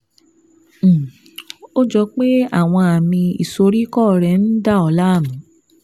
um Ó jọ pé àwọn àmì ìsoríkọ́ rẹ ń dà ọ́ láàmú